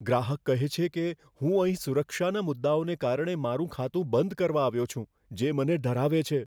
ગ્રાહક કહે છે કે, હું અહીં સુરક્ષાના મુદ્દાઓને કારણે મારું ખાતું બંધ કરવા આવ્યો છું, જે મને ડરાવે છે.